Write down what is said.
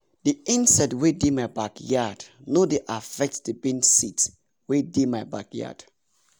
the insect wey dey my backyard no dey affect the bean seeds wey dey my backyard